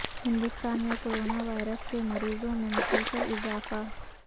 ہندوستان میں corona virus کے مریضوں میں مسلسل اضافہ